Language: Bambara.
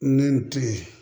Ni n tɛ